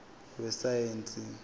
wesayensi